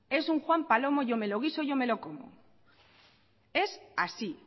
es un juan palomo yo me lo guiso yo me lo como es así